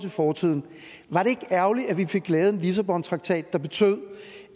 fortiden var det ikke ærgerligt at vi fik lavet en lissabontraktat der betød